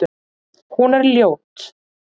Hún er ljót.